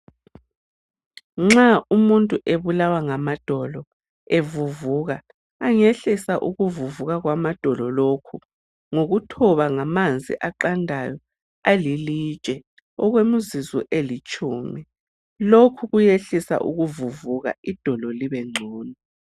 Nxa umuntu ebulawa ngamadolo evuvuka, angehlisa ukuvuvuka kwamadolo lokho ngokuthoba ngamanzi aqandayo alilitshe okwemizuzu elitshumi. Lokhu kuyehlisa ukuvuvuka idolo libengcono.